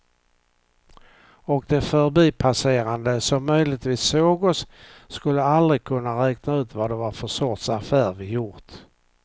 Och de förbipasserande som möjligtvis såg oss skulle aldrig kunna räkna ut vad det var för sorts affär vi gjort.